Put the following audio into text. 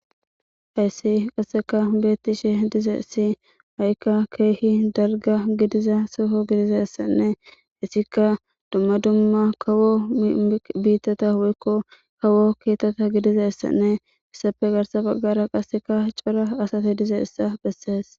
Hayssi qasseka beetti she dizessi ha7ikka keehi dalga gidiza soho gidizessanne hissika dumma dumma kawo biittata huykko kawo keetata gidizessanne issafe garsa baggara qasseka cora asate dize issa bessees.